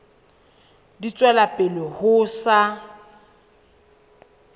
di tswela pele ho sa